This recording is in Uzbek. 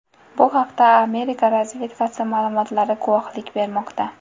Bu haqda Amerika razvedkasi ma’lumotlari guvohlik bermoqda.